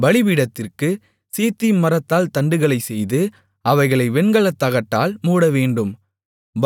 பலிபீடத்திற்குச் சீத்திம் மரத்தால் தண்டுகளைச் செய்து அவைகளை வெண்கலத்தகட்டால் மூடவேண்டும்